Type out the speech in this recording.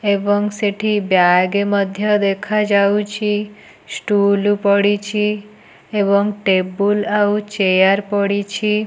ଏବଂ ସେଠି ବ୍ୟାଗେ ମଧ୍ୟ ଦେଖାଯାଉଛି ଷ୍ଟୁଲୁ ପଡ଼ିଛି ଏବଂ ଟେବୁଲ୍ ଆଉ ଚେୟାର ପଡ଼ିଛି।